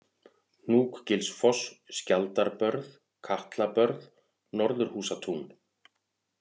Hnúkgilsfoss, Skjaldarbörð, Katlabörð, Norðurhúsatún